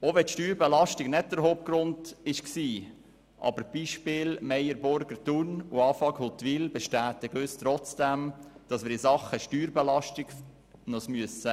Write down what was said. Auch wenn die Steuerbelastung nicht der Hauptgrund war: die Beispiele Meyer Burger in Thun oder Afag in Huttwil bestätigen uns trotzdem, dass wir uns in Sachen Steuerbelastung bewegen müssen.